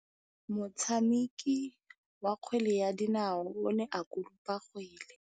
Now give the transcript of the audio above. Motshameki wa kgwele ya dinaô o ne a konopa kgwele.